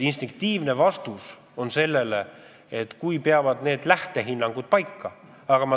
Instinktiivne vastus on, et me ei tea, kas need lähtehinnangud peavad paika.